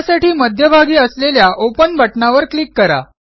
त्यासाठी मध्यभागी असलेल्या ओपन बटणावर क्लिक करा